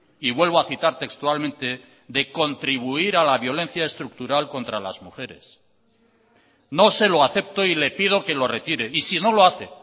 y vuelvo a citar textualmente de contribuir a la violencia estructural contra las mujeres no se lo acepto y le pido que lo retire y si no lo hace